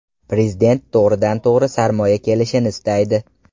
Prezident to‘g‘ridan-to‘g‘ri sarmoya kelishini istaydi.